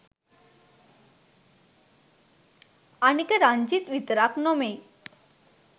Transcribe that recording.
අනික රංජිත් විතරක්‌ නොමෙයි